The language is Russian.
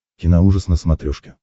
киноужас на смотрешке